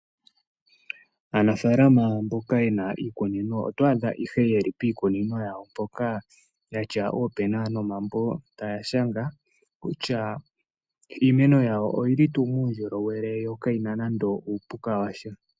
Aanafaalama mboka yena iikunino otwaadha yeli piikunino yawo yatya oopena nomambo taya shanga kutya iimeno yawo oyili tuu muundjolowele yokayina nande uupuka washa.